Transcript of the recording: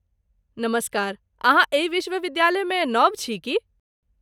नमस्कार, अहाँ एहि विश्वविद्यालयमे नव छी की ?